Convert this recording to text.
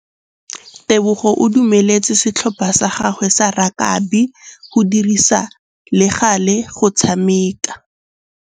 Tebogô o dumeletse setlhopha sa gagwe sa rakabi go dirisa le galê go tshameka.